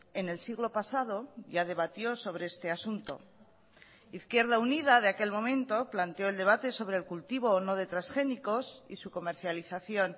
en el siglo pasado ya debatió sobre este asunto izquierda unida de aquel momento planteó el debate sobre el cultivo o no de transgénicos y su comercialización